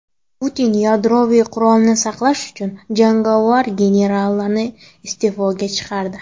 Putin yadroviy qurolni saqlash uchun javobgar generalni iste’foga chiqardi.